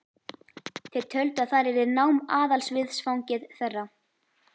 Þau töldu að þar yrði nám aðalviðfangsefni þeirra.